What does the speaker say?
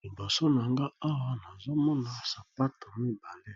Liboso na nga awa nazo mona sapato mibale,